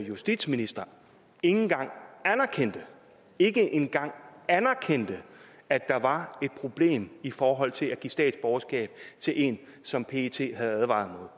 justitsminister ikke engang anerkendte ikke engang anerkendte at der var et problem i forhold til at give statsborgerskab til en som pet havde advaret